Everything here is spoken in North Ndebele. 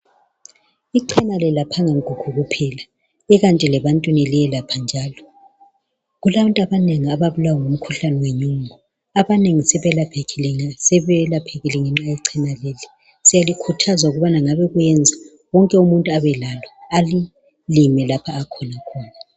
Icena alelaphanga nkukhu kuphela, kwala nje lebantwini liyelapha njalo. Kulantu abanengi ababulawa ngumkhuhlane wenyongo, abanengi sebeyelaphekile ngenxa yecena leli. Siyalikhuthaza ukuthi ngabe kuyenza ,wonke umuntu abelalo alilime lapho akhona.